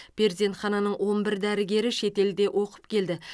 перзенхананың он бір дәрігері шетелде оқып келді